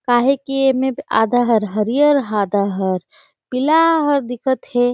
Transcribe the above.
काहे की ए में आधा हर हरियर आधा हर पीला ह दिखा थे--